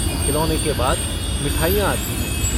खिलौने के बाद मिठाइयाँ आती हैं।